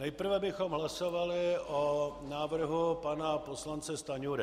Nejprve bychom hlasovali o návrhu pana poslance Stanjury.